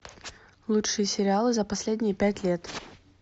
лучшие сериалы за последние пять лет